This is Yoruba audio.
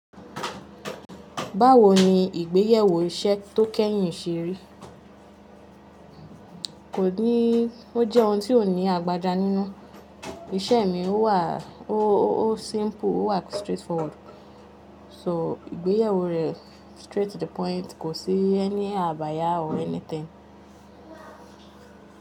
Báwo ni ìgbéyewó iṣẹ́ tó kẹ́yìn ṣe rí? Kò níí, ó jẹ́ ohun tó ní àgbájá nínú. Iṣẹ́ mi ó wàá, ó simple, ó wà straightforward. So ìgbéyewó rẹ̀ straight to the point, kò sí ẹ́ní àbáyá or anything.